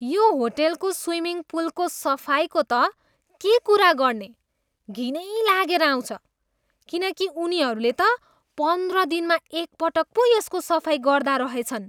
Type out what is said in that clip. यो होटेलको स्विमिङ पुलको सफाइको त के कुरा गर्ने, घिनै लागेर आउँछ किनकि उनीहरूले त पन्ध्र दिनमा एकपटक पो यसको सफाइ गर्दा रहेछन्।